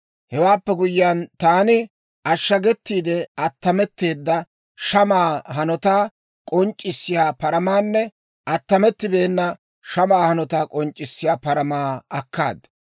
«Hewaappe guyyiyaan, taani ashagetiide attametteedda shamaa hanotaa k'onc'c'isiyaa paramaanne attamettibeena shamaa hanotaa k'onc'c'isiyaa paramaa akkaad.